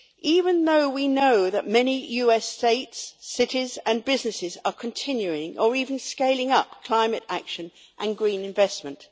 Even though we know that many US states, cities and businesses are continuing or even scaling up climate action and green investment.